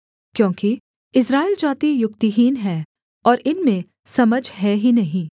क्योंकि इस्राएल जाति युक्तिहीन है और इनमें समझ है ही नहीं